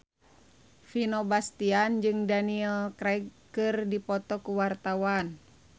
Vino Bastian jeung Daniel Craig keur dipoto ku wartawan